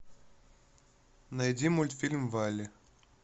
найди мультфильм валли